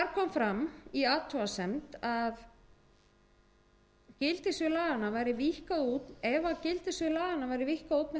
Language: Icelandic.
var gerð athugasemd við að gildissvið laganna væri víkkað út með þessum hætti þar sem ljóst væri